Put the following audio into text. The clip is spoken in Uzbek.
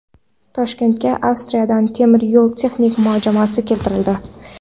Toshkentga Avstriyadan temir yo‘l texnik majmuasi keltirildi.